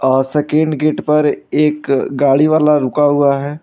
और second gate पर एक गाड़ी वाला रुका हुआ है।